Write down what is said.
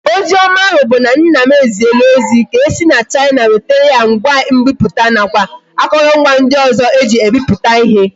Ozi oma ahu bu na nna m eziela ozi ka esi na china wetara ya ngwa nbiputa na kwa akorongwa ndi ozo eji ebiputa ihe